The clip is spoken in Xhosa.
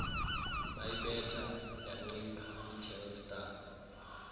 bayibetha yancipha itelstar